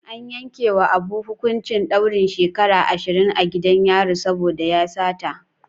An yankewa Abu hukuncin daurin shekaru ashirin a gidan yari saboda ya sata.